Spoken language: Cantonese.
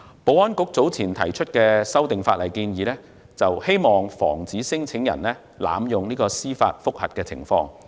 保安局早前提出的法例修訂建議，有意防止聲請人濫用司法覆核。